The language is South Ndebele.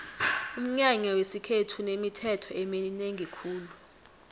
umnyanya wesikhethu unemithetho eminengi khulu